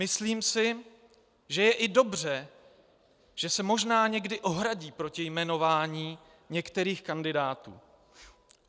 Myslím si, že je i dobře, že se možná někdy ohradí proti jmenování některých kandidátů.